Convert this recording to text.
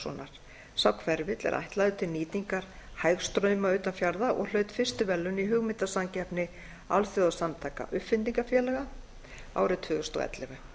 sá hverfill er ætlaður til nýtingar hægstrauma utan fjarða og hlaut fyrstu verðlaun í hugmyndasamkeppni alþjóðasamtaka uppfinningafélaga árið tvö þúsund og ellefu